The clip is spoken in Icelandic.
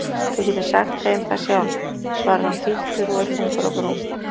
Þú getur sagt þeim það sjálf, svarar hann fýldur og er þungur á brún.